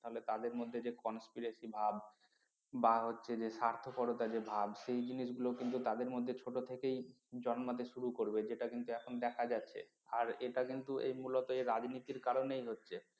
তাহলে তাদের মধ্যে যে conspiracy ভাব বা হচ্ছে যে স্বার্থপরতা যে ভাব সেই জিনিসগুলো কিন্তু তাদের মধ্যে ছোট থেকেই জন্মাতে শুরু করবে যেটা কিন্তু এখন দেখা যাচ্ছে আর এটা কিন্তু এই মূলত এর রাজনীতির কারণেই হচ্ছে